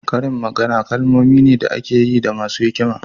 Karin magana kalmomi ne da ake yi da masu hikima.